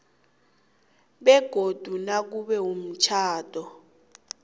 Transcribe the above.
begodu nakube umtjhado